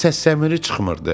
Səs səmiri çıxmırdı.